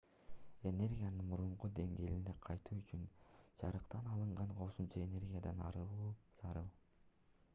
энергиянын мурунку деңгээлине кайтуу үчүн жарыктан алынган кошумча энергиядан арылуу зарыл